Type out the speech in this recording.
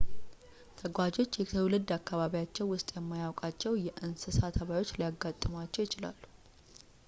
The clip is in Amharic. ተጓዦች የትውልድ አካባቢዎቻቸው ውስጥ የማያውቋቸው የእንሰሳ ተባዮች ሊያጋጥሟቸው ይችላሉ